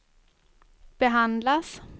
behandlas